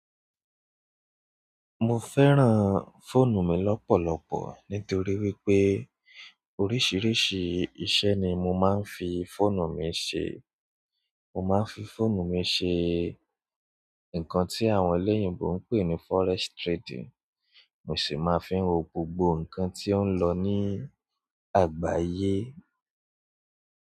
Mo fẹ́ràn fóònù mi lọ́pọ̀lọpọ̀ nítorí wípé oríṣìíríṣìí iṣẹ́ ni mo máa ń fi fóònù mi ṣe. Mo máa ń fi fóònù mi ṣe ǹkan tí àwọn olóyìnbo ń pè ní forex trading, mo sì máa ń fi wo gbogbo ǹkan tí ó ń lọ ní àgbáyé.